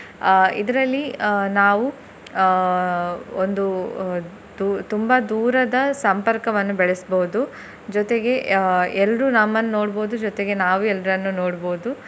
ಅಹ್ ಇದರಲ್ಲಿ ಅಹ್ ನಾವು ಅಹ್ ಒಂದು ದೂ~ ತುಂಬಾ ದೂರದ ಸಂಪರ್ಕವನ್ನು ಬೆಳೆಸ್ಬೋದು ಜೊತೆಗೆ ಅಹ್ ಎಲ್ರು ನಮ್ಮನ್ನು ನೋಡ್ಬೋದು ಜೊತೆಗೆ ನಾವು ಎಲ್ರನ್ನು ನೋಡ್ಬೋದು.